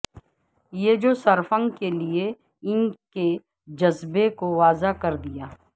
یہ جو سرفنگ کے لئے ان کے جذبہ کو واضح کر دیا